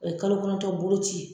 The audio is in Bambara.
O ye kalo kɔnɔntɔn boloci ye.